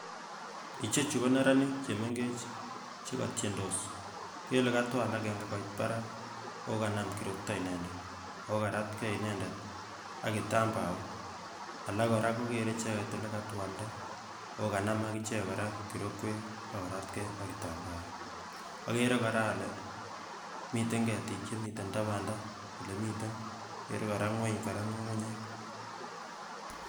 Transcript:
ichechu ko neranik chemengech chekotiendos kikere kele katwal akenge koit parak ako kanam kirokto inendet, ako karatke inendet akitambaok, alak kora kokere icheket ole katwalnda ako kanam akichek kora korokwek akoratke akitambaok ,akere kora ale miten ketik chemiten tapandaa olemiten akere kora ngweny kora ng'ung'unyek.